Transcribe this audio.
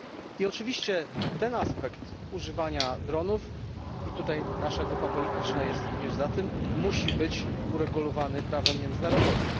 I oczywiście ten aspekt używania dronów i tutaj nasza grupa polityczna jest również za tym musi być uregulowany prawem międzynarodowym.